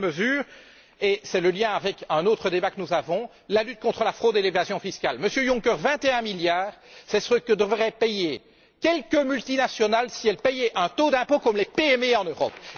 La deuxième mesure est le lien avec un autre débat que nous avons la lutte contre la fraude et l'évasion fiscales. Monsieur Juncker, 21 milliards, c'est ce que devraient payer quelques multinationales si elles payaient un taux d'impôt comme les PME en Europe.